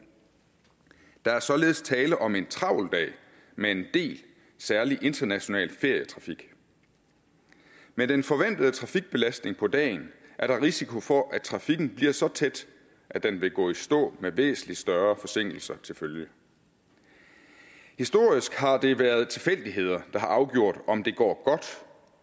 der er således tale om en travl dag med en del særlig international ferietrafik med den forventede trafikbelastning på dagen er der risiko for at trafikken bliver så tæt at den vil gå i stå med væsentlig større forsinkelser til følge historisk har det været tilfældigheder der har afgjort om det går godt